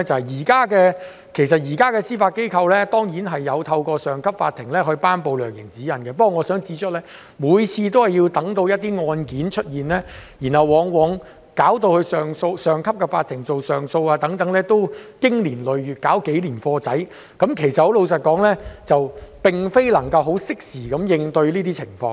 現時司法機構當然有透過上級法庭頒布量刑指引，不過我想指出的是，每次等到一些案件出現，往往交到上級法庭處理上訴，其實已是經年累月，最低限度也要花上數年時間，老實說，並非能夠適時應對這些情況。